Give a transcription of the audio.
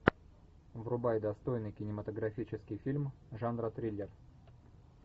врубай достойный кинематографический фильм жанра триллер